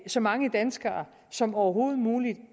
så mange danskere som overhovedet muligt